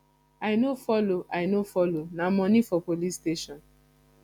i no follow i no follow na moni for police station